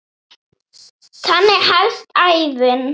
Þannig hefst ævin.